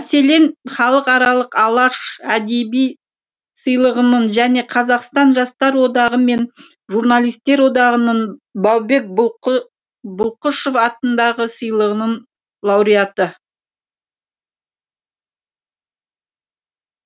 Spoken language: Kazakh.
мәселен халықаралық алаш әдеби сыйлығының және қазақстан жастар одағы мен журналистер одағының баубек бұлқышев атындағы сыйлығының лауреаты